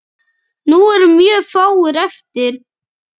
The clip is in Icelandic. Nú eru mjög fáir eftir.